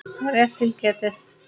Rétt til getið.